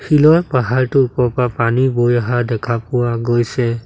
শিলৰ পাহাৰটো ওপৰৰ পৰা পানী বৈ অহা দেখা পোৱা গৈছে।